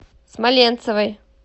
смоленцевой